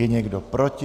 Je někdo proti?